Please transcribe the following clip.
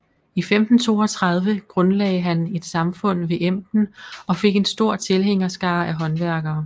I 1532 grundlagde han et samfund ved Emden og fik en stor tilhængerskare af håndværkere